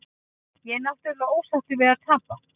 Ég er náttúrulega ósáttur við að tapa.